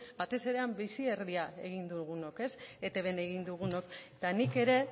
batez ere han bizi erdia egin dugunok etbn egin dugunok eta nik ere